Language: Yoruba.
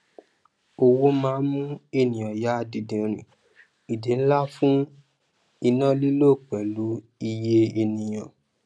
owó máà mú ènìyàn yà dìdìnrìn ìdí nla fún iná lilo pẹlu iye ènìyàn